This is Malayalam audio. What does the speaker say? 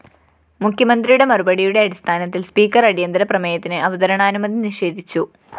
മുഖ്യമന്ത്രിയുടെ മറുപടിയുടെ അടിസ്ഥാനത്തില്‍ സ്പീക്കർ അടിയന്തരപ്രമേയത്തിന് അവതരണാനുമതി നിഷേധിച്ചു